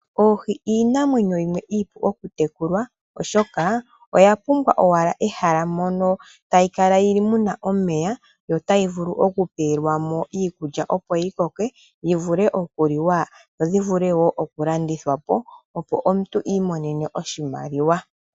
Oohi iinamwenyo yimwe iipu okutekulwa, oshoka oya pumbwa owala ehala mono tayi kala yi li mu na omeya yo tayi vulu okupewelwa mo iikulya opo yi koke yi vule okuliwa, dho dhi vule okulandithwa po, opo omuntu i imonene oshimaliwa.